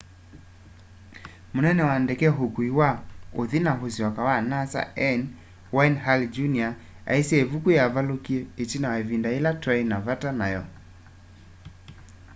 munene wa ndeke ukui wa uthi na usyoka wa nasa n wayne hale jr aisye ivuyu yavalukie itina wa ivinda yila twai na vata nayo